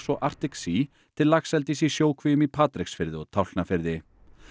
og Arctic Sea til laxeldis í sjókvíum í Patreksfirði og Tálknafirði